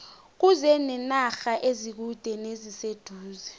kuze nenarha ezikude neziseduze